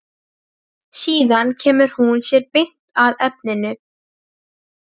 Síðan kemur hún sér beint að efninu.